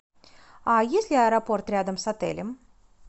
а есть ли аэропорт рядом с отелем